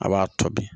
A b'a tɔ di